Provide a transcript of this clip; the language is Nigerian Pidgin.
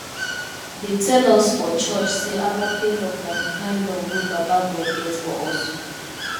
dey tell us for church sey agape love na di kind love wey baba god get for us